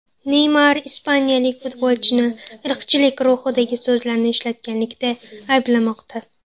Neymar ispaniyalik futbolchini irqchilik ruhidagi so‘zlarni ishlatganlikda ayblamoqda.